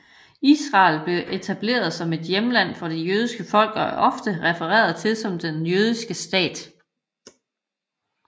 Israel blev etableret som et hjemland for det jødiske folk og er ofte refereret til som den jødiske stat